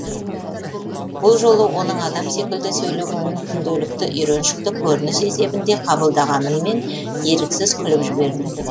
бұл жолы оның адам секілді сөйлегенін күнделікті үйреншікті көрініс есебінде қабылдағаныммен еріксіз күліп жібердім